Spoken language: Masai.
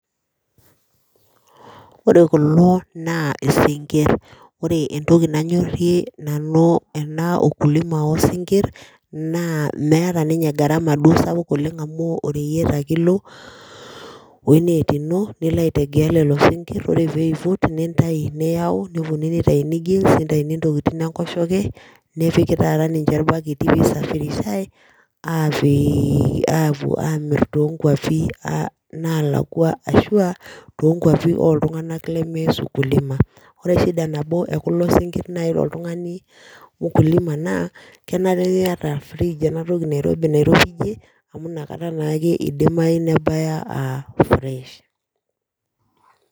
Wore kulo naa isingir, wore entoki nanyorie nanu enaa ukulima oo singir naa meeta ninye garama duo sapuk oleng amu oreyiet ake ilo weenet ino niliaitegea lelo singir wore peiput nintayu niyao neponunui nitayuni gills nitayuni intokitin enkoshoke nepiki taata ninje irbaketi pee isafirishai apuo amir too inkwapi nalakwa ashua toonkwapi oltunganak lemeas ukulima. Wore shida nabo ekulo singir naji tooltungani ukulima naa kenare niyata oor fridge enatoki nairobi amu inakata naa ake idimayu nebaya aa fresh.